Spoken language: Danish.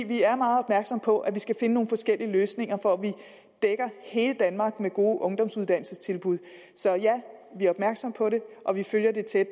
vi er meget opmærksomme på at vi skal finde nogle forskellige løsninger for at vi dækker hele danmark med gode ungdomsuddannelsestilbud så ja vi er opmærksomme på det og vi følger det tæt